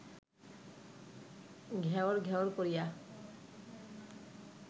ঘ্যাঁওর ঘ্যাঁওর করিয়া